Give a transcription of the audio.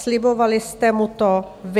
Slibovali jste mu to vy.